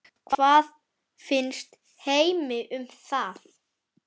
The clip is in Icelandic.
Hvað finnst Heimi um það?